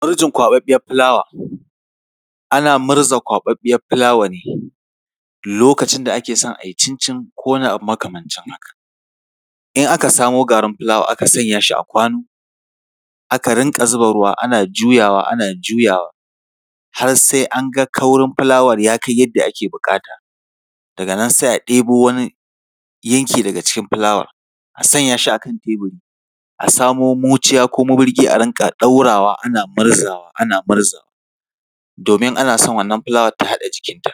Ɓarjin kwaɓaɓɓiyar fulawa. Ana murza kwaɓaɓɓiyar fulawa ne lokacin da ake so a yi cincin ko wani abu makamancin haka. In aka samo garin fulawa, aka sanya shi a kwano, aka rinƙa zuba ruwa, ana jauyawa, ana juyawa, har sai an ga kaurin fulawar ya kai yadda ake buƙata, daga nan, sai a ɗebo wani yanki daga cikin fulawar, a sanya shi a kan teburi, a samo muciya ko maburgi a rinƙa ɗaurawa, ana ɓarzawa, ana ɓarzawa, domin ana son wannan fulawar ta haɗa jikinta.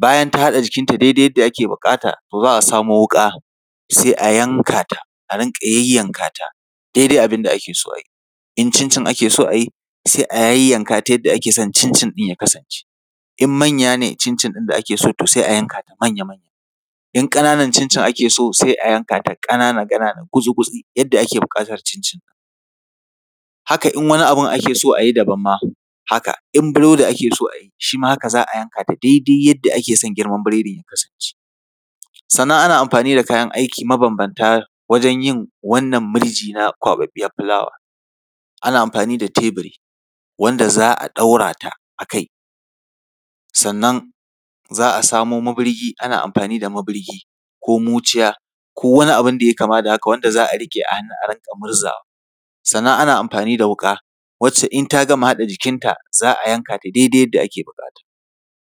Bayan ta haɗa jikinta daidai yadda ake buƙata, to za a samo wuƙa, sai a yanka ta, a rinƙa yayyanka ta daidai abin da ake so a yi. In cincin ake so a yi, sai a yayyanka ta yadda ake son cincin ɗin ya kasance. In manya ne cincin ɗin da ake so, to sai a yanka ta manya-manya. In ƙananan cincin ake so, sai a yanka ta ƙanana-ƙanana, gutsi-gutsi, yadda ake buƙatar cincin ɗin. Haka in wani abu ake so daban ma haka, in burodi ake so a yi shi ma, haka za a yanka da daidai yadda ake son girman biredin ya kasance. Sannan ana amfani da kayan aiki mabambanta wajen yin wannan murji na kwaɓaɓɓiyar fulawa. Ana amfani da teburi, wanda za a ɗaura ta a kai, sannan za a samo maburgi ana amfani da maburgi ko muciya ko wani abu wanda ya yi kama da haka wanda za a riƙe a hannu a rinƙa murzawa. Sannan ana amfani da wuƙa, wacce in ta gama haɗa jikinta, za a yanka ta daidai yadda ake buƙata.